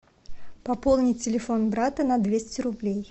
пополнить телефон брата на двести рублей